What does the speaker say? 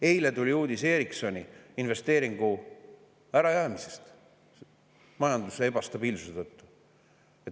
Eile tuli uudis Ericssoni investeeringu ärajäämisest majanduse ebastabiilsuse tõttu.